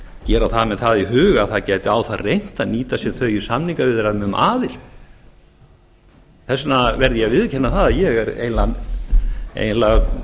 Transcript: gera það með það í huga að það gæti á það reynt að nýta sér þau í samningaviðræðum um aðild þess vegna verð ég að viðurkenna það að ég er eiginlega